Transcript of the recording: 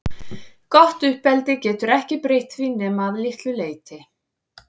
Gott uppeldi getur ekki breytt því nema að litlu leyti.